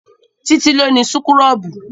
Títí ló ni súkúrọ́bù